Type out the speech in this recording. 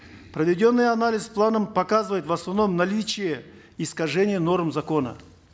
проведенный анализ с планом показывает в основном наличие искажения норм закона